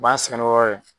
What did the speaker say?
U b'an sɛgɛn n'o yɔrɔ ye